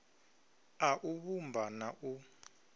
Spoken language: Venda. a u vhumba na u